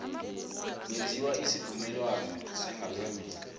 kwenziwa isivumelwano sangaphambi